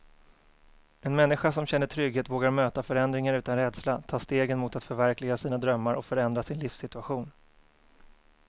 En människa som känner trygghet vågar möta förändringar utan rädsla, ta stegen mot att förverkliga sina drömmar och förändra sin livssituation.